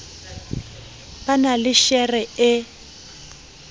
ba na le shere e